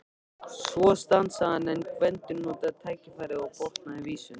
Svo stansaði hann en Gvendur notaði tækifærið og botnaði vísuna: